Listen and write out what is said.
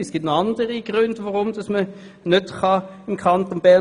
Es gibt noch andere Gründe für die Wahl eines Wohnsitzes als die Steuern.